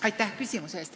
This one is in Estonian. Aitäh!